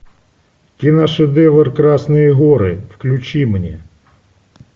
киношедевр красные горы включи мне